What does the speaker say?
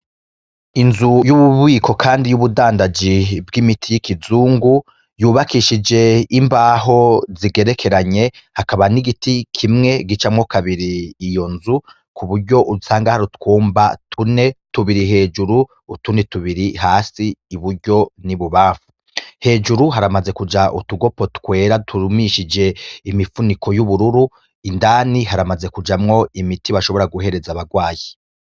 Inzu y'ububiko, kandi y'ubudandaji bw'imiti y'ikizungu yubakishije imbaho zigerekeranye hakaba n'igiti kimwe gicamwo kabiri iyo nzu ku buryo usanga hari utwumba tune tubiri hejuru utuni tubiri hasi i buryo n'i bubafu, hejuru haramaze kuja utugopo twera durumishije imifuniko y'ubururu indani haramaze kujamwo imiti bashobora guhereza abarwayi.